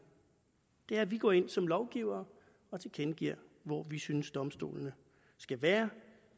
det er at vi går ind som lovgivere og tilkendegiver hvor vi synes domstolene skal være